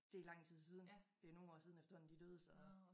Det lang tid siden det nogen år siden efterhånden de døde så